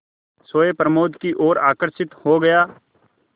सोए प्रमोद की ओर आकर्षित हो गया